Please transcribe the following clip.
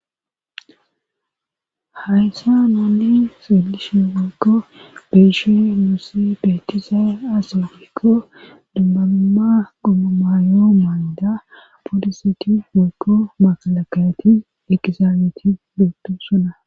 Hayssa naanne silishi wokko beishe nusse betiza asaofolikko dumbabumma gommamaayo maanida booliseti woykko maalakayati eqizaameeti lottu sona.